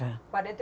quarenta?